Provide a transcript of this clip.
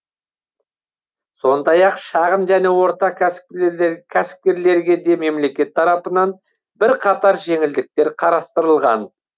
сондай ақ шағын және орта кәсіпкерлер кәсіпкерлерге де мемлекет тарапынан бірқатар жеңілдіктер қарастырылған